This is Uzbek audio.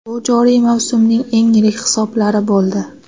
Bu joriy mavsumning eng yirik hisoblari bo‘ldi.